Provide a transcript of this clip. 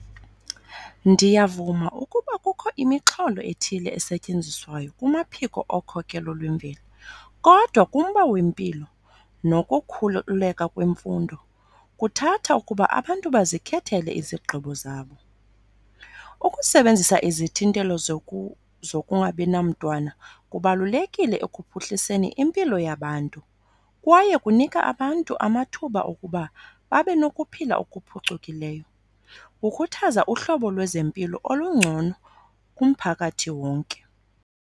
Ndiyavuma ukuba kukho imixholo ethile esetyenziswayo kumaphiko okhokhelo lwemveli, kodwa kumba wempilo nokukhululeka kwemfundo kuthatha ukuba abantu bazikhethele izigqibo zabo. Ukusebenzisa izithintelo zokungabi namtwana kubalulekile ekuphuhliseni impilo yabantu kwaye kunika abantu amathuba okuba babe nokuphila okuphucukileyo. Kukhuthaza uhlobo lwezempilo olungcono kumphakathi wonke.